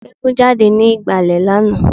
Eégún jáde ní ìgbàlẹ̀ lánàá